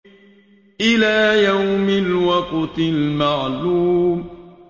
إِلَىٰ يَوْمِ الْوَقْتِ الْمَعْلُومِ